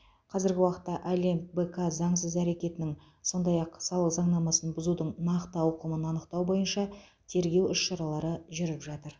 қазіргі уақытта олимп бк заңсыз әрекетінің сондай ақ салық заңнамасын бұзудың нақты ауқымын анықтау бойынша тергеу іс шаралары жүріп жатыр